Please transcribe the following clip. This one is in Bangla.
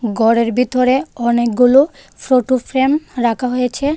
ঘরের ভিতরে অনেকগুলো ফোটো ফ্রেম রাখা হয়েছে.